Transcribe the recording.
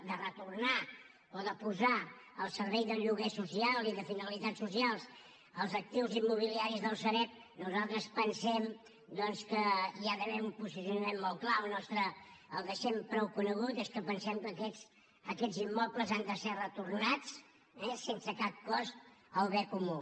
de retornar o de posar al servei del lloguer social i de finalitats socials els actius immobiliaris de la sareb nosaltres pensem doncs que hi ha d’haver un posicionament molt clar el nostre el deixem prou conegut és que pensem que aquests immobles han de ser retornats sense cap cost al bé comú